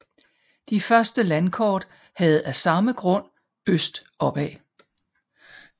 De første landkort havde af samme grund øst opad